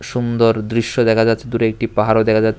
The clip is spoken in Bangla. সুন্দর দৃশ্য দেখা যাচ্ছে দূরে একটি পাহাড়ও দেখা যা --